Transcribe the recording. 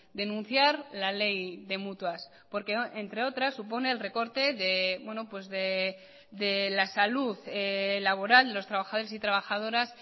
denunciar la ley de mutuas porque entre otras supone el recorte de la salud laboral los trabajadores y trabajadoras